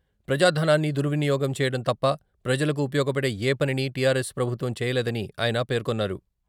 ప్రజా ధనాన్ని దుర్వినియోగం చేయడం తప్ప ప్రజలకు ఉపయోగపడే ఏ పనినీ టీఆర్ ఎస్ ప్రభుత్వం చేయలేదని ఆయన పేర్కొన్నారు.